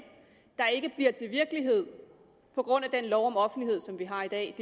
der ikke bliver til virkelighed på grund af den lov om offentlighed som vi har i dag